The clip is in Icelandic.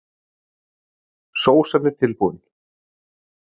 Sósan er tilbúin.